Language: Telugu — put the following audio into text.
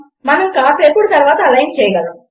మనము కాసేపటి తర్వాత అలైన్ చేయగలము